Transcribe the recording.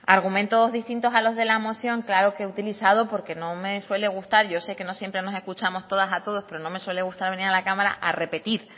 argumentos distintos a los de la moción claro que he utilizado porque no me suele gustar yo sé que no siempre no escuchamos todas a todos pero no me suele gustar venir a la cámara a repetir